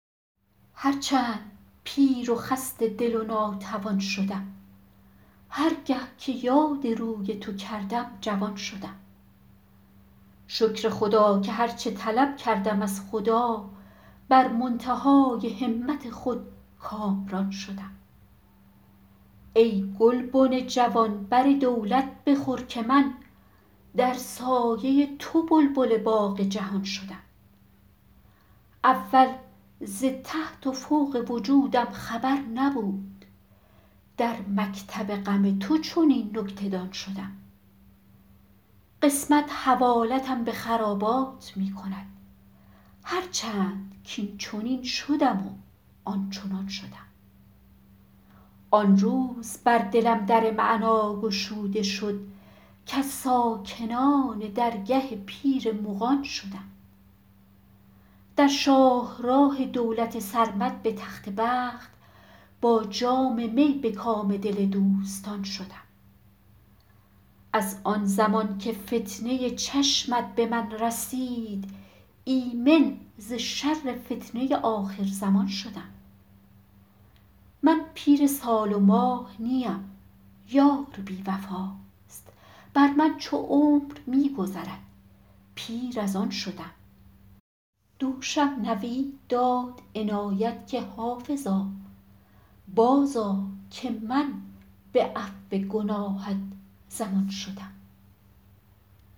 هر چند پیر و خسته دل و ناتوان شدم هر گه که یاد روی تو کردم جوان شدم شکر خدا که هر چه طلب کردم از خدا بر منتهای همت خود کامران شدم ای گلبن جوان بر دولت بخور که من در سایه تو بلبل باغ جهان شدم اول ز تحت و فوق وجودم خبر نبود در مکتب غم تو چنین نکته دان شدم قسمت حوالتم به خرابات می کند هر چند کاینچنین شدم و آنچنان شدم آن روز بر دلم در معنی گشوده شد کز ساکنان درگه پیر مغان شدم در شاه راه دولت سرمد به تخت بخت با جام می به کام دل دوستان شدم از آن زمان که فتنه چشمت به من رسید ایمن ز شر فتنه آخرزمان شدم من پیر سال و ماه نیم یار بی وفاست بر من چو عمر می گذرد پیر از آن شدم دوشم نوید داد عنایت که حافظا بازآ که من به عفو گناهت ضمان شدم